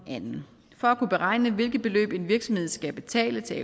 den anden for at kunne beregne hvilke beløb en virksomhed skal betale til